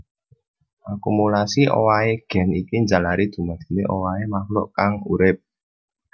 Akumulasi owahé gen iki njalari dumadine owahé makhluk kang urip